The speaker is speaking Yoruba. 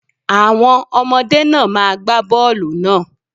Àwọn ọmọdé náà má gba bọ́ọlù náà.